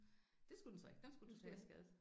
Det skulle den så ikke den skulle totalskades